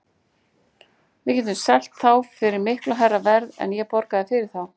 Við getum selt þá fyrir miklu hærra verð en ég borgaði fyrir þá.